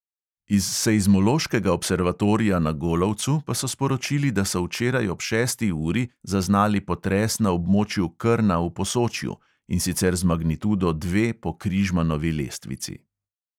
Iz seizmološkega observatorija na golovcu pa so sporočili, da so včeraj ob šesti uri zaznali potres na območju krna v posočju, in sicer z magnitudo dve po križmanovi lestvici.